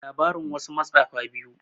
labarin wasu matsafa biyu